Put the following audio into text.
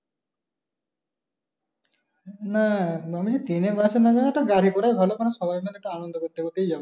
না মনে হয় train এ bus এ না যাওয়া টা গাড়ি করে ভালো কারন সবাই মিলে আনন্দ করতে করতে একটু যাবো।